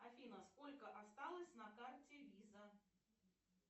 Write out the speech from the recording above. афина сколько осталось на карте виза